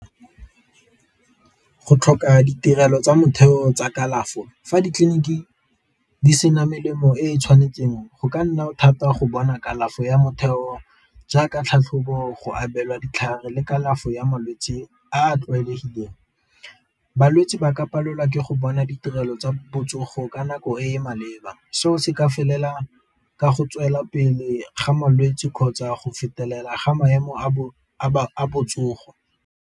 Go tlhoka ditirelo tsa motheo tsa kalafo, fa ditleliniki di sena melemo e e tshwanetseng go ka nna thata go bona kalafi ya motheo jaaka tlhatlhobo go abelwa ditlhare le kalafo ya malwetse a a tlwaelegileng. Balwetse ba ka palelwa ke go bona ditirelo tsa botsogo ka nako e e maleba, seo se ka felela ka go tswelela pele ga malwetse kgotsa go fetelela ga maemo a botsogo.